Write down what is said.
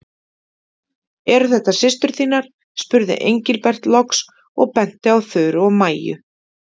Eru þetta systur þínar? spurði Engilbert loks og benti á Þuru og Maju.